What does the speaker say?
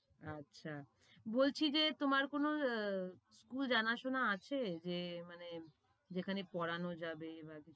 আচ্ছা, বলছি যে তোমার কোনো আহ school জানাশোনা আছে যে মানে যেখানে পড়ানো যাবে?